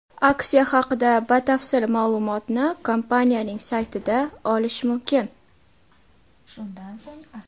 Aksiya haqida batafsil ma’lumotni kompaniyaning sayti ’da olish mumkin.